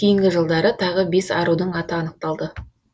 кейінгі жылдары тағы бес арудың аты анықталды